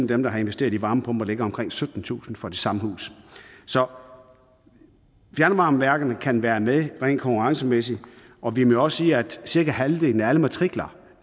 dem der har investeret i varmepumper ligger på omkring syttentusind kroner for det samme hus så fjernvarmeværkerne kan være med rent konkurrencemæssigt og vi må også sige at cirka halvdelen af alle matrikler